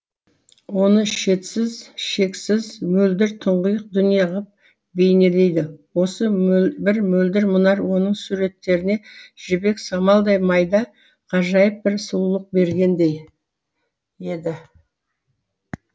оны шетсіз шексіз мөлдір тұңғиық дүние ғып бейнелейді осы бір мөлдір мұнар оның суреттеріне жібек самалдай майда ғажайып бір сұлулық бергендей еді